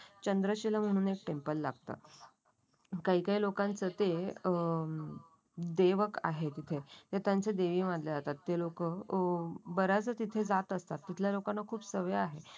चंद्रशिला म्हणून एक टेम्पल लागत. काही काही लोकांचे ते अं देवक आहे तिथे ते त्यांचे देवी मानले जातात. ते लोक ओम बऱ्याच तिथे जात असतात. तिथल्या लोकांना खूप सवय आहे.